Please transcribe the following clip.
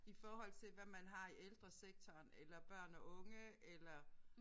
I forhold til hvad man har i ældresektoren eller børn og unge eller